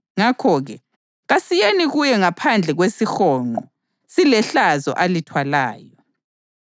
Ngakho-ke, kasiyeni kuye ngaphandle kwezihonqo silehlazo alithwalayo.